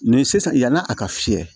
Nin sisan yan'a ka fiyɛ